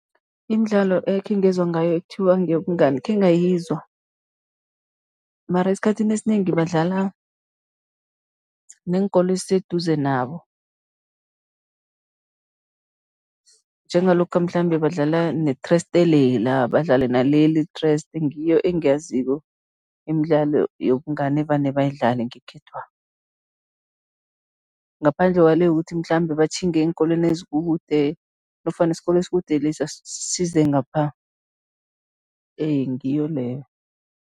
Imidlalo ekhe ngezwa ngayo ekuthiwa ngeyobungani, khengayizwa mara esikhathini esinengi badlala neenkolo eziseduze nabo, njengalokha mhlambe badlala nethreste lela, badlale naleli ithreste, ngiyo engiyaziko imidlalo yobungani evane bayidlale ngekhethwa, ngaphandle kwale yokuthi mhlambe batjhinge eenkolweni ezikude nofana isikolo esikude lesa size ngapha, ngiyo leyo.